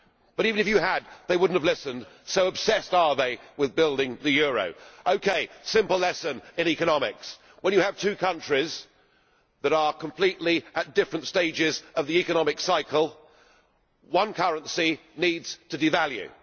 But even if you had, they would not have listened, so obsessed are they with building the euro. OK, a simple lesson in economics when you have two countries that are at completely different stages of the economic cycle, one currency needs to devalue.